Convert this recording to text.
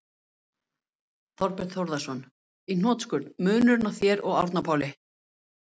Þorbjörn Þórðarson: Í hnotskurn, munurinn á þér og Árna Páli?